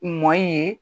Mɔ ye